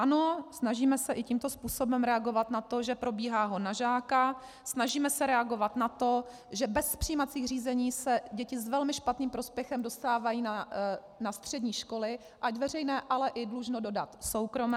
Ano, snažíme se i tímto způsobem reagovat na to, že probíhá hon na žáka, snažíme se reagovat na to, že bez přijímacích řízení se děti s velmi špatným prospěchem dostávají na střední školy, ať veřejné, ale i dlužno dodat soukromé.